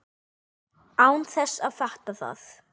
Án þess að fatta það.